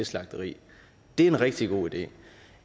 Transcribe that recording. slagteri det er en rigtig god idé